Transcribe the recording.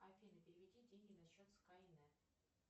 афина переведи деньги на счет скай нет